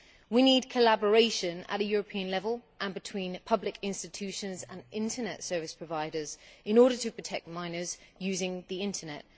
We need collaboration at a European level and between public institutions and internet service providers in order to protect minors using the internet.